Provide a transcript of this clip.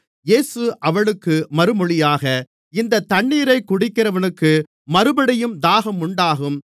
இயேசு அவளுக்கு மறுமொழியாக இந்தத் தண்ணீரைக் குடிக்கிறவனுக்கு மறுபடியும் தாகம் உண்டாகும்